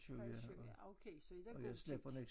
Halv 7 ja okay så er der god tid